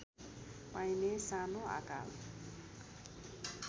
पाइने सानो आकार